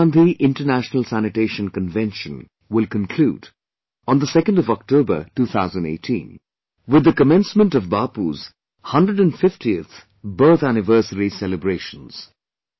Mahatma Gandhi International Sanitation Convention will conclude on 2nd October, 2018 with the commencement of Bapu's 150th Birth Anniversary celebrations